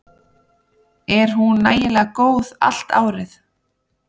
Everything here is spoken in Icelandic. Er hún nægilega góð allt árið?